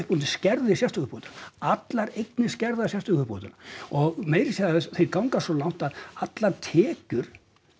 hún skerðir sérstöku uppbótina allar eignir skerða sérstöku uppbótina og meira að segja þeir ganga svo langt að allar tekjur